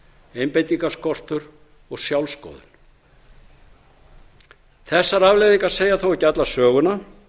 einbeitingarskortur og sjálfssköðun þessar afleiðingar segja þó ekki alla söguna